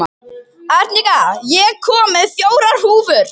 Arnika, ég kom með fjórar húfur!